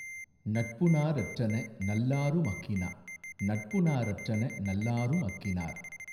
நட்புநா ரற்றன நல்லாரு மஃகினா நட்பு நார் அற்றன நல்லாரும் அஃகினார்